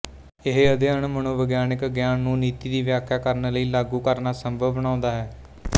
ਇਹ ਅਧਿਅਨ ਮਨੋਵਿਗਿਆਨਕ ਗਿਆਨ ਨੂੰ ਨੀਤੀ ਦੀ ਵਿਆਖਿਆ ਕਰਨ ਲਈ ਲਾਗੂ ਕਰਨਾ ਸੰਭਵ ਬਣਾਉਂਦਾ ਹੈ